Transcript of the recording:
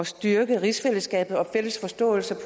styrke rigsfællesskabet og den fælles forståelse